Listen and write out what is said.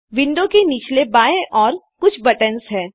window के निचले बाएँ ओर कुछ बटन्स हैं